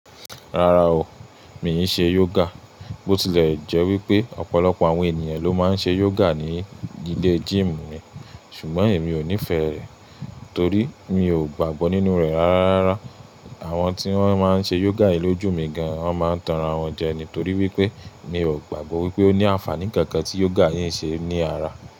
Rárá o, mi ò ṣe yoga. Bó tilẹ̀ jẹ́ wípé ọ̀pọ̀lọpọ̀ àwọn ènìyàn ló máa ń ṣe yoga ní ilé gym mi, ṣùgbọ́n èmi ò nífẹ̀ẹ́ rẹ̀ torí mi ò gbàgbọ́ nínú rẹ̀ ara rárá. Àwọn tí wón máa ń ṣe yoga yí lójú mi gan, wón máa ń tanran wọn jẹ ní torí wípé mi ò gbàgbọ́ wípé ó ní àǹfààní kankan tí yoga yí ń ṣe ní ara.